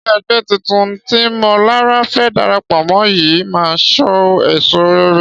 Ṣé ẹgbẹ́ titun tí Mọlará fẹ́ darapọ̀ mọ́ yìí máa so èso rere?